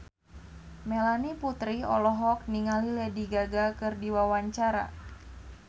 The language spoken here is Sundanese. Melanie Putri olohok ningali Lady Gaga keur diwawancara